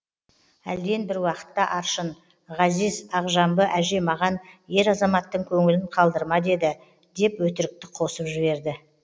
әлден бір уақытта аршын ғазиз ақжамбы әже маған ер азаматтың көңілін қалдырма деді деп өтірікті қосып жіберді